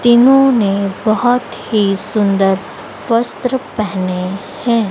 तीनों ने बहुत ही सुंदर वस्त्र पहने हैं।